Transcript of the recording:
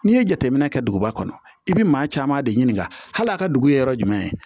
N'i ye jateminɛ kɛ duguba kɔnɔ i bɛ maa caman de ɲininka hali a ka dugu ye yɔrɔ jumɛn